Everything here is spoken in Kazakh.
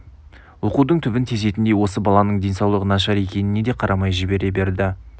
оқудың түбін тесетіндей осы баланың денсаулығы нашар екеніне де қарамай жібере берді